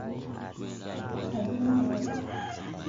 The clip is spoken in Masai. ajenda aai